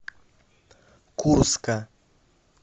курска